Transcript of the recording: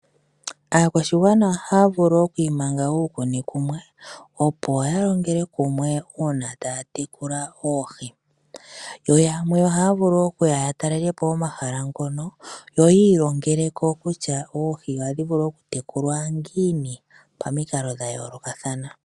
Aakwashigwana ohaya vulu okwiimanga uukuni kumwe opo yalongele kumwe uuna taya tekula oohi yo yamwe ohaya vulu okuya yatalelepo omahala ngono yo yilongelo kutya oohi ohadhi vulu okutekulwa ngini pamikalo dhayoloka thana.